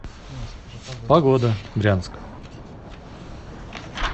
погода брянск